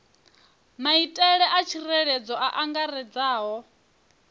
maitele a tsireledzo a angaredzaho